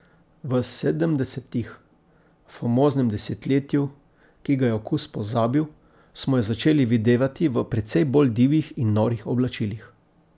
V sedemdesetih, famoznem desetletju, ki ga je okus pozabil, smo jo začeli videvati v precej bolj divjih in norih oblačilih.